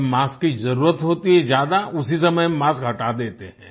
जब मास्क की जरूरत होती है ज्यादा उसी समय मास्क हटा देते हैं